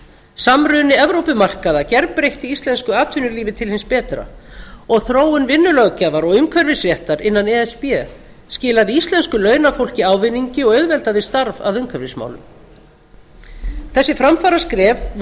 samruni evrópumarkaða gerbreytti íslensku atvinnulífi til hins betra og þróun vinnulöggjafar og umhverfisréttar innan e s b skilaði íslensku launafólki ávinningi og auðveldaði starf að umhverfismálum þessi framfaraskref voru